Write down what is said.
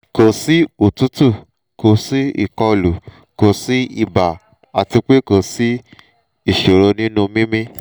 kò sí òtútù kò sí ìkọlù kò sí ibà àti pé kò sí ìṣòro nínú mímí